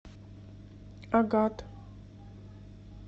агат